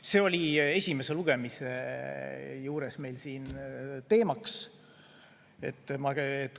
See oli esimese lugemise juures ka teemaks.